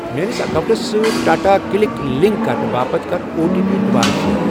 میٲنِس اکاونٹَس سۭتۍ ٹاٹا کٕلِک لینگ کرنہٕ باپتھ کَر او ٹی پی دُوبارٕ شیر۔